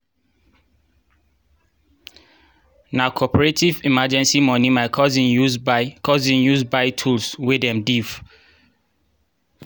na cooperative emenrgncy moni my cousin use buy cousin use buy tools wen dem diif.